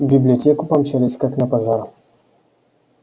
в библиотеку помчались как на пожар